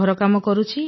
ଘରକାମ କରୁଛି